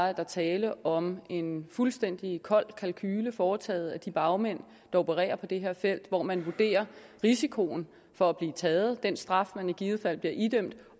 er der tale om en fuldstændig kold kalkule foretaget af de bagmænd der opererer på det her felt hvor man vurderer risikoen for at blive taget den straf man i givet fald bliver idømt